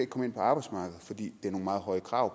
komme ind på arbejdsmarkedet fordi det er nogle meget høje krav